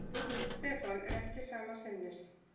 Stefán er ekki sama sinnis.